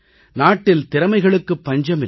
நாட்டில் திறமைகளுக்குப் பஞ்சமில்லை